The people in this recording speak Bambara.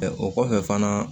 o kɔfɛ fana